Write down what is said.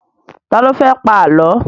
Ta ló fẹ́ pa Àlọ́?